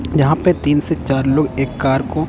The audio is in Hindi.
यहां पे तीन से चार लोग एक कार को--